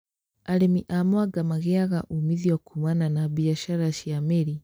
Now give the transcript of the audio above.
Arĩmi a mwanga magĩaga umithio kumana na mbiacara ya mĩri